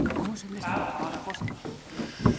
Farum